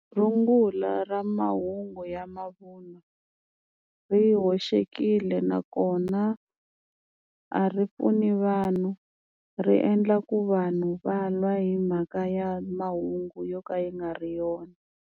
Rungula ra mahungu ya mavunwa ri hoxekile nakona a ri pfuni vanhu ri endla ku vanhu va lwa hi mhaka ya mahungu yo ka ya nga ri yona.